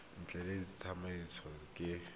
ntlha e tla tsamaisiwa ke